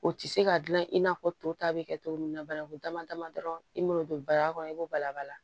O tɛ se ka dilan i n'a fɔ to ta bɛ kɛ cogo min na banakun dama dama dɔrɔn i m'o don bara kɔnɔ i b'o bala bala